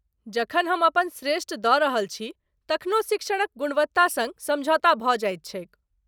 जखन हम अपन श्रेष्ठ दऽ रहल छी तखनो शिक्षणक गुणवत्ता सङ्ग समझौता भऽ जाइत छैक।